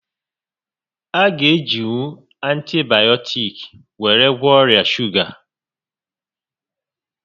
A gá e jinwu antibayọtiks were gwọọ ọrià shuga